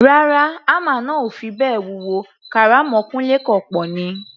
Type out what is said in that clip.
Rárá, hámà náà ò fi bẹ́ẹ̀ wúwo, kàrámọ̀ Kúńlé kọ̀ pọ̀ ni.